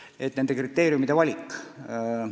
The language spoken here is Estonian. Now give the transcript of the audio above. See küsimus oli kriteeriumide valik.